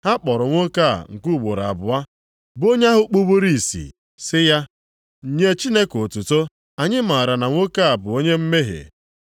Ha kpọrọ nwoke a nke ugboro abụọ, bụ onye ahụ kpuburu ìsì, sị ya, “Nye Chineke otuto. Anyị maara na nwoke a bụ onye mmehie.”